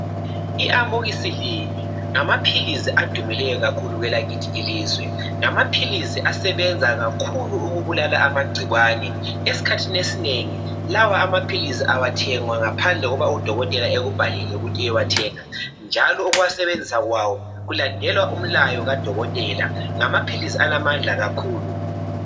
I amoxicillin ngamaphilisi adumileyo kakhulu kwelakithi ilizwe ngamaphilisi asebenza kakhulu ukubulala amagcikwane esikhathini esinengi lawo amaphilisi awathengwa ngaphandle kokuba udokotela ekubhalele ukuthi uyewathenga njalo ukuwasebenzisa kwawo kulandelwa umlayo kadokotela ngamaphilisi alamandla kakhulu.